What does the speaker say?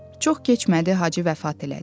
Çox keçmədi Hacı vəfat elədi.